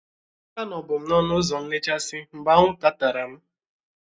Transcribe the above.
Anọbu m n'ọnụ ụzọ nlechasị mgbe anwụ nta tara m